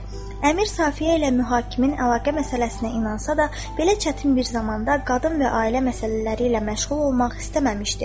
Əmir Safiyə ilə mühakim əlaqə məsələsinə inansa da, belə çətin bir zamanda qadın və ailə məsələləri ilə məşğul olmaq istəməmişdi.